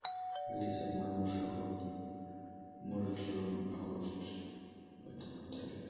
алиса мой муж охотник может ли он охотиться в этом отеле